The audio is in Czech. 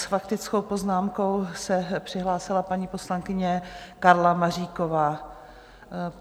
S faktickou poznámkou se přihlásila paní poslankyně Karla Maříková.